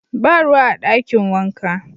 Ba ruwa a dakin wanka.